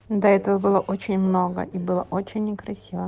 до этого было очень много и было очень не красиво